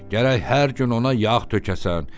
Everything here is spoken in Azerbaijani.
Gərək hər gün ona yağ tökəsən.